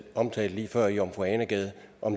omtalte lige før i jomfru ane gade